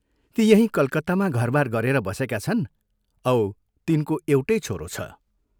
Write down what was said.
ती यहीं कलकत्तामा घरबार गरेर बसेका छन् औ तिनको एउटै छोरो छ।